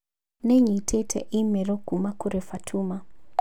Nĩ nyitĩte i-mīrū kuuma kũrĩ fatuma